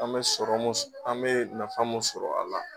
An bɛ sɔrɔ mun an bɛ nafa mun sɔrɔ a la.